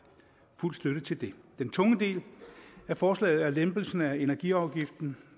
fuld støtte til det den tunge del af forslaget er lempelsen af energiafgiften